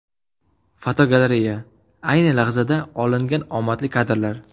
Fotogalereya: Ayni lahzada olingan omadli kadrlar.